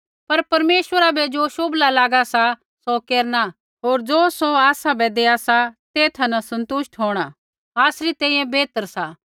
पर परमेश्वरा बै ज़ो शोभला लागा सा सौ केरना होर ज़ो सौ आसाबै देआ सा तेथा न सन्तुष्ट होंणा आसरी तैंईंयैं बेहतर सा